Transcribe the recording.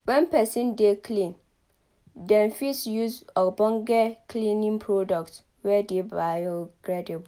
when person dey clean dem fit use ogbonge cleaning product wey dey bio-degradable